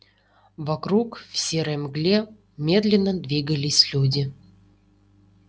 вокруг в серой мгле медленно двигались люди